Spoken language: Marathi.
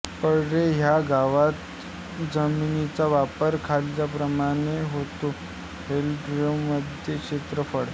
परळे ह्या गावात जमिनीचा वापर खालीलप्रमाणे होतो हेक्टरमध्ये क्षेत्रफळ